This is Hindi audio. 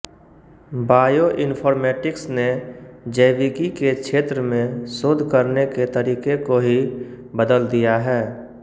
बायोइन्फ़ॉर्मैटिक्स ने जैविकी के क्षेत्र में शोध करने के तरीके को ही बदल दिया है